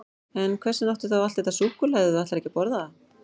En hvers vegna áttu þá allt þetta súkkulaði ef þú ætlar ekki að borða það?